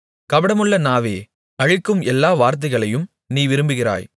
கபடமுள்ள நாவே அழிக்கும் எல்லா வார்த்தைகளையும் நீ விரும்புகிறாய்